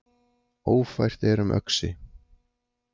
Ófært er um Öxi